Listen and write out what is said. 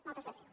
moltes gràcies